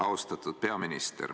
Austatud peaminister!